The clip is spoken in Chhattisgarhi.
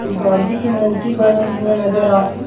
जो गाँधी के मूर्ति बने हुए नज़र आत हे।